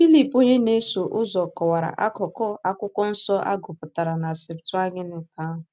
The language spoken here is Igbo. Filip onye na-eso ụzọ kọwara akụkụ Akwụkwọ Nsọ a gụpụtara na Septụaginti ahụ.